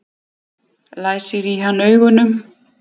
Læsir í hann augunum.